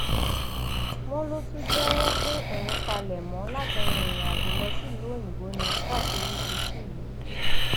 wọn ló tún jẹwọ pé òun palẹmọ láti rin ìrìnàjò lọ sílùú òyìnbó ni táṣìírí fi tú yìí